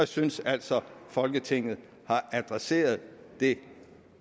synes altså at folketinget har adresseret det